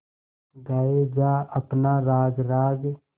गाये जा अपना राग राग